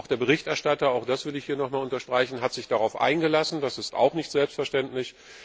Auch der Berichterstatter das will ich hier nochmals unterstreichen hat sich darauf eingelassen, das ist nicht selbstverständlich.